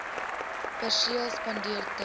perseel spandeer ten